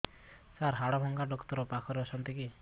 ସାର ହାଡଭଙ୍ଗା ଡକ୍ଟର ପାଖରେ ଅଛନ୍ତି କି